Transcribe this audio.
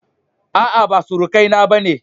A'a ba surukai na bane